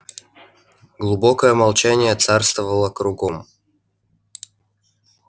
глубокое молчание царствовало кругом